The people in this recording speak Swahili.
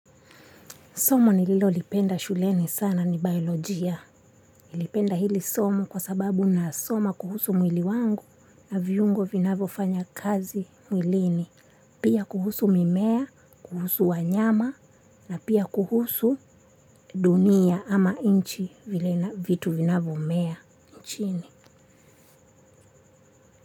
Somo nililolipenda shuleni sana ni biolojia. Nilipenda hili somo kwa sababu nasoma kuhusu mwili wangu na viungo vinavyofanya kazi mwilini. Pia kuhusu mimea, kuhusu wanyama na pia kuhusu dunia ama nchi vitu vinavomea nchini.